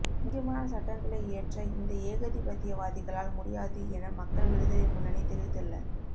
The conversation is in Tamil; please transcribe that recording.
முக்கியமான சட்டங்களை இயற்ற இந்த ஏகதிபத்தியவாதிகளால் முடியாது என மக்கள் விடுதலை முன்னணி தெரிவித்துள்ள